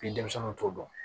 Ni denmisɛnw t'o dɔn